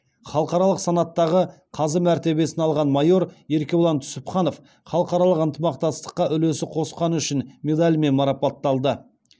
халықаралық санаттағы қазы мәртебесін алған майор еркебұлан түсіпханов халықаралық ынтымақтастыққа үлесі қосқаны үшін медалімен марапатталды